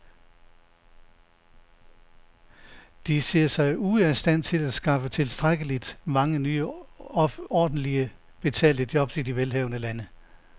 De ser sig ude af stand til at skaffe tilstrækkeligt mange nye ordentligt betalte jobs i de velhavende lande.